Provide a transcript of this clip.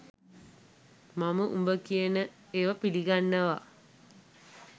මම උඹ කියන ඒව පිලිගන්නව.